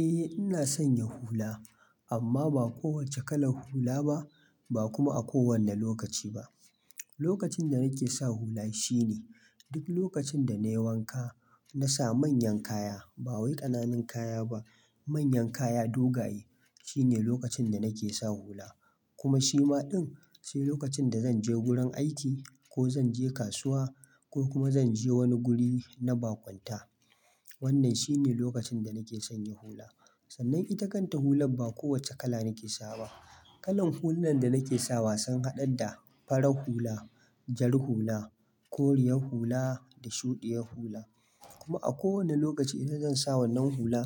Eh ina sanya hula amma ba kowacce kalar hula ba, ba kuma a kowane lokaci ba. Lokacin da nake sa hula shine duk lokacin da na yi wanka na sa manyan kaya, ba wai ƙananan kaya ba. Manyan kaya dogaye shine lokacin da nake sa hula. Kuma shi ma din sai lokacin da zan je gurin aiki ko zan je kasuwa ko kuma zan je wani guri na baƙunta. Wannan shine lokacin da nake sanya hula. Sannan ita kanta hular ba kowacce kala nake sawa ba. Kalan hullunan da nake sawa sun haɗa da farar hula, jar hula, koriyar hula da shuɗiyar hula. Kuma a kowane lokaci idan zan sa wannan hula